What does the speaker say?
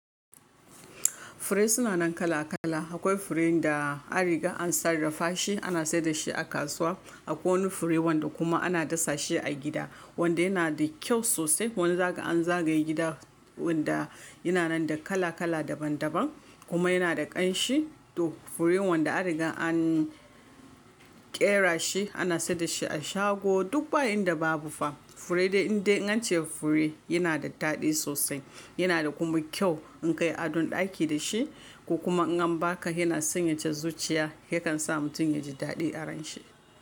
Fure suna nan kala kala. Akwai furen da a riga an sarrafa shi, ana sayar da shi a kasuwa. Akwai wani fure wanda kuma ana dasa shi a gida, wanda yana da kyau sosai. Wani zaka zagaye gida wanda yana nan da kala kala daban daban kuma yana da ƙanshi. To furen wanda a riga an ƙera shi, ana sayar da shi a shago duk bayin da babu fa fure dai inda an ce fure yana da daɗi sosai. Yana da kuma kyau in ka yi adon ɗaki da shi ko kuma in an baka yana sanyaya zuciya, hakan sa mutum ya ji daɗi aron shi.